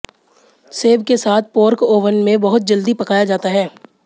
सेब के साथ पोर्क ओवन में बहुत जल्दी पकाया जाता है